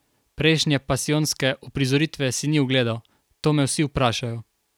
Prejšnje pasijonske uprizoritve si ni ogledal: 'To me vsi vprašajo.